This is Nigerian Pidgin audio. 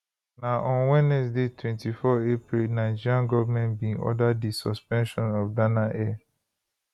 na on wednesday 24 april nigeria goment bin order di suspension of dana air